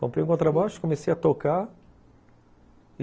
Comprei o contrabaixo, comecei a tocar.